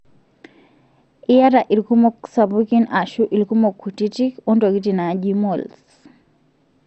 iata ilkumok sapukin ashu ilkumok kutiti ontokitin naji moles.